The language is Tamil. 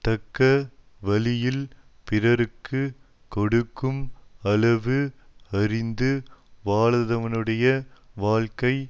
தக்க வழியில் பிறர்க்கு கொடுக்கும் அளவு அறிந்து வாழாதவனுடைய வாழ்க்கை